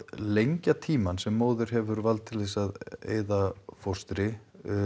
lengja tímann sem móðir hefur vald til að eyða fóstri